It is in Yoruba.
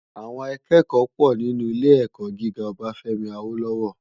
Àwòn àkèkò pò ninú ilé èkò gigá Obafemi Awolowo